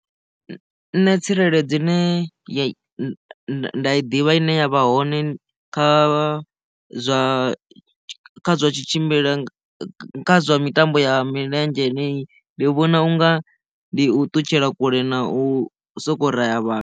Nṋe tsireledzo ine nda i ḓivha ine ya vha hone kha zwa zwatshimbila kha zwa mitambo ya milenzhe heneyi ndi vhona unga ndi u ṱutshela kule na u soko ra ya vhathu.